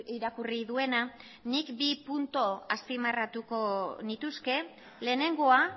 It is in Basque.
irakurri duena nik bi puntu azpimarratuko nituzke lehenengoa